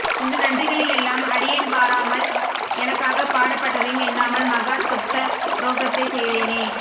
இந்த நன்றிகளை யெல்லாம் அடியேன் பாராமல் எனக்காகப் பாடுபட்டதையும் எண்ணாமல் மகா துட்ட துரோகத்தைச் செய்தேனே